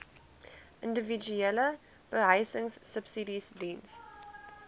individuele behuisingsubsidies diens